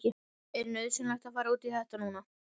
Er nauðsynlegt að fara út í þetta núna?